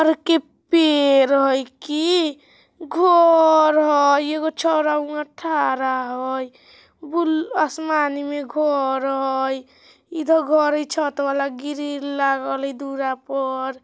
तार के पेड़ हई की घर हई एगो छोरा उहा थारा हई बुल आसमानी मे घर हई इधर घर हई छत वाला गिरिल लगाल ए दूर पर ---